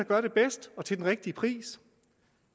gør det bedst og til den rigtige pris